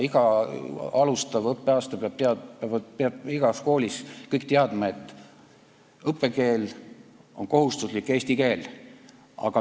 Iga õppeaasta alguses peavad igas koolis kõik teadma, et kohustuslik õppekeel on eesti keel.